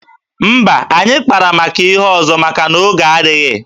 Mba, anyị kpara maka ihe ọzọ maka na oge adịghị.